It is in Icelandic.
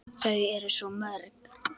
Þau eru svo mörg.